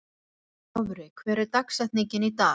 Dofri, hver er dagsetningin í dag?